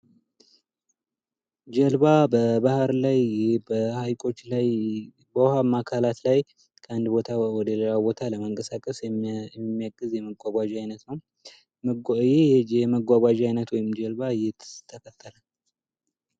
ጀልባ በባህር ላይ፣ በሀይቆች ላይ፣ በውሃማ አካላት ላይ ከአንድ ቦታ ወደ ሌላ ቦታ ለመንቀሳቀስ የሚያግዝ የመጓጓዣ አይነት ነው ።ይህ የመጓጓዣ አይነት ወይም ጀልባ የት ተፈጠረ?